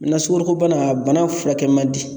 Na sugoro ko bana a bana furakɛ man di.